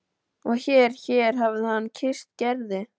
Og hér hér hafði hann kysst Gerði.